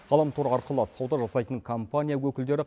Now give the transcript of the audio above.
ғаламтор арқылы сауда жасайтын компания өкілдері